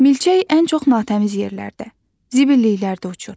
Milçək ən çox natəmiz yerlərdə, zibilliklərdə uçur.